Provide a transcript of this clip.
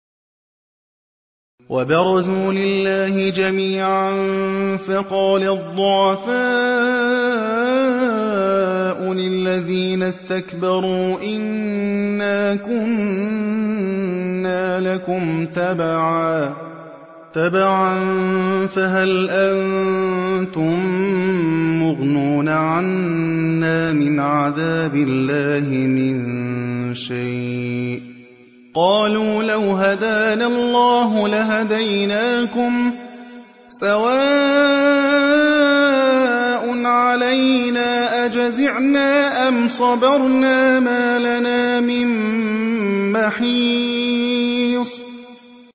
وَبَرَزُوا لِلَّهِ جَمِيعًا فَقَالَ الضُّعَفَاءُ لِلَّذِينَ اسْتَكْبَرُوا إِنَّا كُنَّا لَكُمْ تَبَعًا فَهَلْ أَنتُم مُّغْنُونَ عَنَّا مِنْ عَذَابِ اللَّهِ مِن شَيْءٍ ۚ قَالُوا لَوْ هَدَانَا اللَّهُ لَهَدَيْنَاكُمْ ۖ سَوَاءٌ عَلَيْنَا أَجَزِعْنَا أَمْ صَبَرْنَا مَا لَنَا مِن مَّحِيصٍ